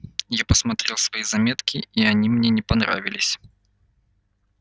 я посмотрел свои заметки и они мне не понравились